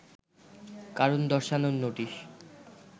কারণ দর্শানোর নোটিশ